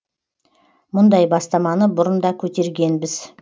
мұндай бастаманы бұрын да көтергенбіз